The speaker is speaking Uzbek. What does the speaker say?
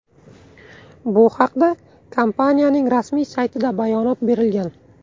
Bu haqda kompaniya rasmiy saytida bayonot berilgan .